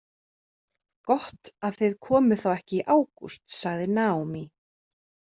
Gott að þið komuð þá ekki í ágúst, sagði Naomi.